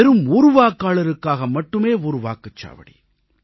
வெறும் ஒரு வாக்காளருக்காக மட்டுமே ஒரு வாக்குச்சாவடி